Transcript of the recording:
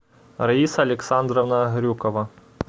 раиса александровна грюкова